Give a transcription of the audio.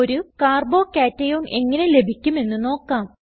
ഒരു carbo കേഷൻ എങ്ങനെ ലഭിക്കും എന്ന് നോക്കാം